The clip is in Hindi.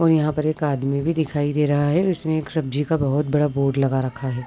और यहाँ पर एक आदमी भी दिखाई दे रहा है इसने एक सब्जी का बोहोत बड़ा बोर्ड लगा रखा है।